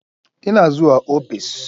Ina zuwa ofis.